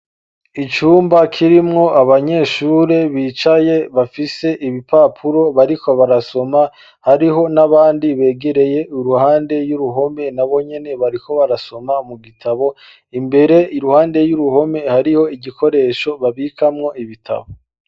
Icumba kirimwo abanyeshure bicaye bafise ibipapuro bariko barasoma hariho n'abandi begereye uruhande y'uruhome na bonyene bariko barasoma mu gitabo, imbere iruhande y'uruhome hariho igikoresho babikamwo ibitabo.